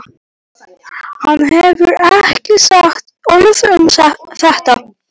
Hann hefur ekki sagt orð um þetta.